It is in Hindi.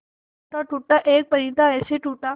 टूटा टूटा एक परिंदा ऐसे टूटा